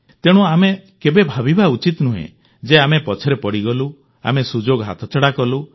ତେଣୁ ଆମେ କେବେ ଭାବିବା ଉଚିତ ନୁହେଁ ଯେ ଆମେ ପଛରେ ପଡ଼ିଗଲୁ ଆମେ ସୁଯୋଗ ହାତଛଡ଼ା କଲୁ